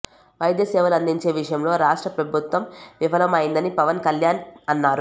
వైధ్య సేవలు అందించే విషయంలో రాష్ట్ర ప్రభుత్వం విఫలం అయిందని పవన్ కళ్యాణ్ అన్నారు